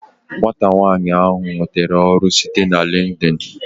Nwata nwanyi ahu nwetere ọrụ site na LinkedIn